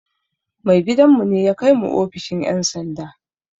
Mai gidan mu ne ya kai mu ofishin ƴan sanda